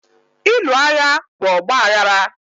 Ịlụ agha bụ ọgbaghara